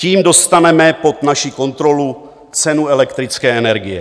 Tím dostaneme pod naši kontrolu cenu elektrické energie.